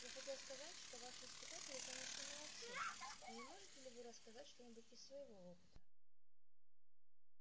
я хотел сказать что ваши испытатели конечно молодцы но не можете ли вы рассказать что-нибудь из своего опыта